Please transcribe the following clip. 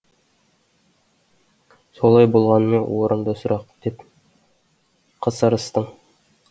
солай болғанымен орынды сұрақ деп қасарыстың